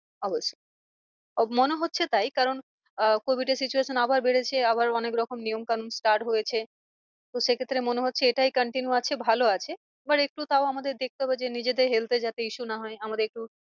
অবশ্যই মনে হচ্ছে তাই কারণ আহ covid এর situation আবার বেড়েছে আবার অনেক রকম নিয়ম কানুন start হয়েছে। তো সে ক্ষেত্রে মনে হচ্ছে এটাই continue আছে ভালো আছে। আবার একটু তাও আমাদের দেখতে হবে যে নিজেদের health এ যাতে issue না হয় আমাদের একটু